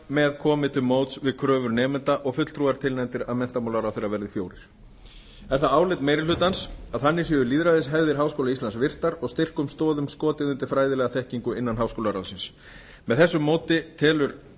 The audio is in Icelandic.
með komið til móts við kröfur nemenda og fulltrúar tilnefndir af menntamálaráðherra verði fjórir er það álit meiri hlutans að þannig séu lýðræðishefðir háskóla íslands virtar og styrkum stoðum skotið undir fræðilega þekkingu innan háskólaráðsins með þessu móti telur meiri